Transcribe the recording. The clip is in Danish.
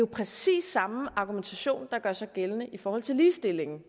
præcis samme argumentation der gør sig gældende i forhold til ligestillingen